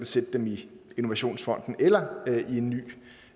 sætte dem i innovationsfonden eller i en ny